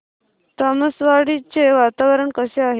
तामसवाडी चे वातावरण कसे आहे